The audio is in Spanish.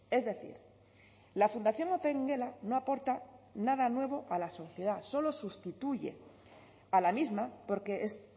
es decir la fundación opengela no aporta nada nuevo a la sociedad solo sustituye a la misma porque es